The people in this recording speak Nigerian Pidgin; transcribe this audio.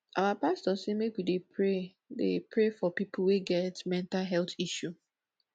our pastor sey make we dey pray dey pray for pipo wey get mental health issue